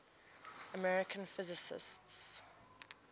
american physicists